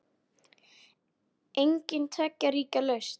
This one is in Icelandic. Engin tveggja ríkja lausn?